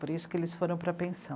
Por isso que eles foram para a pensão.